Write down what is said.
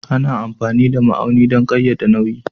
Ana amfani da ma'auni don ƙayyade nauyi